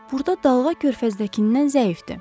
burda dalğa körfəzdəkindən zəifdir.